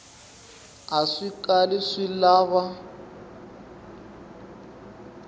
a swi kali swi lava